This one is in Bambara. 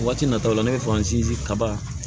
Waati natɔla ne bɛ faransin kaba